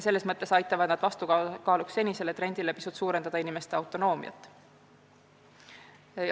Selles mõttes aitavad need vastukaaluks senisele trendile pisut suurendada üksikisikute autonoomiat.